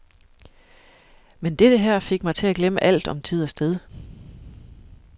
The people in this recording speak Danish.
Men dette her fik mig til at glemme alt om tid og sted.